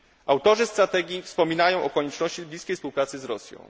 Autorzy strategii wspominają o konieczności bliskiej współpracy z Rosją.